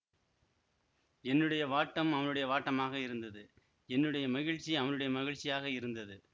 என்னுடைய வாட்டம் அவனுடைய வாட்டமாக இருந்தது என்னுடைய மகிழ்ச்சி அவனுடைய மகிழ்ச்சியாக இருந்தது